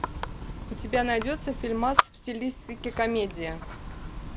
у тебя найдется фильмас в стилистике комедия